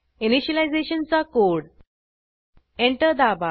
इनीशियलायजेशनचा code enter दाबा